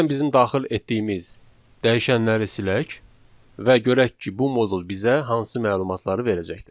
Gəlin bizim daxil etdiyimiz dəyişənləri silək və görək ki, bu modul bizə hansı məlumatları verəcəkdir.